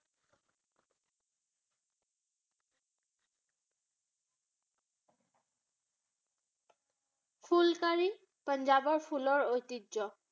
ফুলকাৰী পাঞ্জাবৰ ফুলৰ ঐতিহ্য